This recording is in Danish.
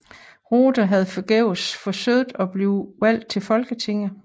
Rothe havde forgæves forsøgt at blive valgt til Folketinget